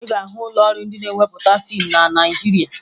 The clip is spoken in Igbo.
Ị ga-ahụ ụlọọrụ ndị na-ewepụta fiimu na Naịjirịa